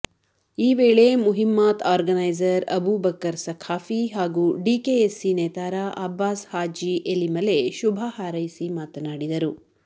ಈ ವೇಳೆ ಮುಹಿಮ್ಮಾತ್ ಆರ್ಗನೈಝರ್ ಅಬೂಬಕ್ಕರ್ ಸಖಾಫಿ ಹಾಗೂ ಡಿಕೆಎಸ್ಸಿ ನೇತಾರ ಅಬ್ಬಾಸ್ ಹಾಜಿ ಎಲಿಮಲೆ ಶುಭ ಹಾರೈಸಿ ಮಾತನಾಡಿದರು